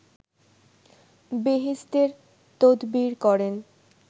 বেহেসতের তদবির করেন